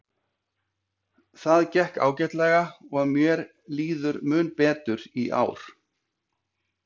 Það gekk ágætlega og mér líður mun betur í ár.